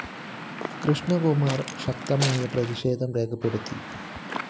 കൃഷ്ണകുമാര്‍ ശക്തമായ പ്രതിഷേധം രേഖപ്പെടുത്തി